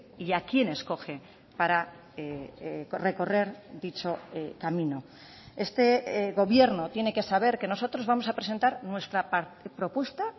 y a quién escoge para recorrer dicho camino este gobierno tiene que saber que nosotros vamos a presentar nuestra propuesta